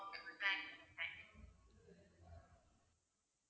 okay ma'am thank you ma'am thank you